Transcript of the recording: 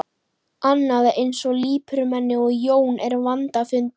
Annað eins lipurmenni og Jón er vandfundið.